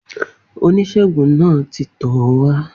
Oníṣègùn náà ti tọ̀ ọ́ wá.